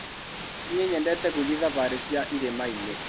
Nĩi nyendete gũthĩi thabarĩ cia irĩmainĩ.